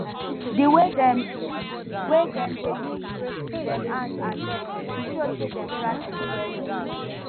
di way dem way dem dey use dem hand and leg e show say dem practice wellwell